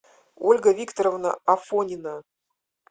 ольга викторовна афонина